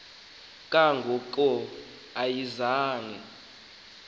kanga ko ayizange